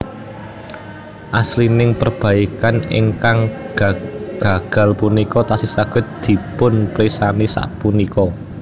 Asiling perbaikan ingkang gagal punika tasih saged dipunpirsani sapunika